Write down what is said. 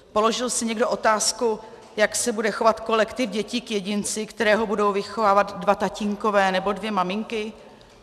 Položil si někdo otázku, jak se bude chovat kolektiv dětí k jedinci, kterého budou vychovávat dva tatínkové nebo dvě maminky?